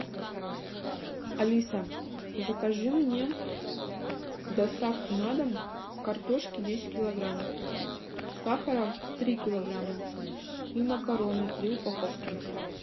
алиса закажи мне доставку на дом картошки десять килограмм сахара три килограмма и макароны три упаковки